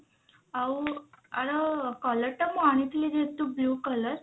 ଆଉ ଆର colour ଟା ମୁଁ ଆଣିଥିଲି ଯେହେତୁ blue colour